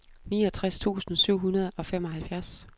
niogtres tusind syv hundrede og femoghalvfjerds